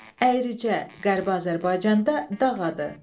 Əyricə, qərbi Azərbaycanda dağ adı.